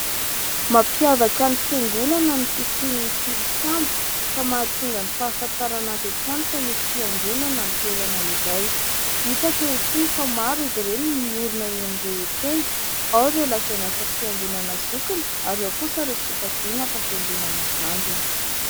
Mampiavaka ny fiangonana ny fisian'ny tilikambo ka mahatonga ny fahafantarana avy hatrany fa misy fiangonana ny toerana iray. Hita ankehitriny fa maro izy ireny no miorina eny drehetra eny, ao ireo lazaina fa fiangonana zokiny ary ao kosa ireo sokajiana fa fiangonana zandriny.